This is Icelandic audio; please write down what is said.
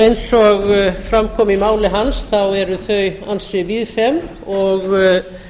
eins og fram kom í máli hans eru þau ansi víðfeðm og